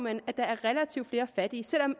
at der er relativt flere fattige selv om